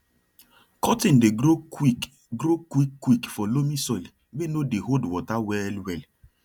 cotton dey grow quick grow quick quick for loamy soil wey no dey hold water well well